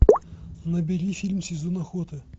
набери фильм сезон охоты